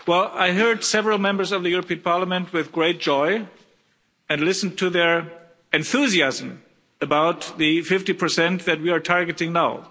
I heard several Members of the European Parliament with great joy and listened to their enthusiasm about the 50 that we are targeting now.